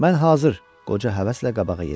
Mən hazır, qoca həvəslə qabağa yeridi.